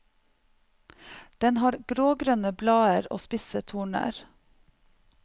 Den har grågrønne blader og spisse torner.